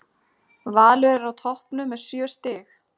Valur er á toppnum með sjö stig.